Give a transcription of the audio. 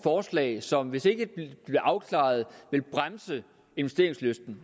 forslag som hvis ikke det bliver afklaret vil bremse investeringslysten